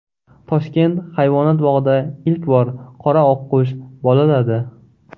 Toshkent hayvonot bog‘ida ilk bor qora oqqush bolaladi.